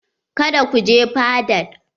Kada ku je fadaɗ.